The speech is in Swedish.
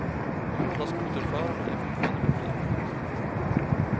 De båda skoterförarna är fortfarande på fri fot.